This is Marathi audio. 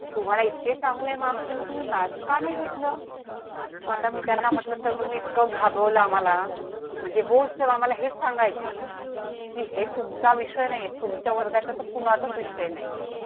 तुम्हाला इतके चांगले मार्क्स मग तुम्ही maths का नाही घेतलं आता मी त्यांना म्हटलं सर तुम्ही इतकं घाबरवलं आम्हाला म्हणजे होतं आम्हाला हे सांगायचंय. ची हे तुमचा विषय नाही ये. तुमच्या वर्गाचा कुणाचाच विषय नाही ये